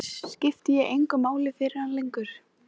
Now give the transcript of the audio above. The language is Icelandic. Það er nú sagt að eitthvað sé þar niðri.